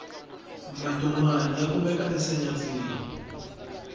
matomani ya kumeka ensenyatsini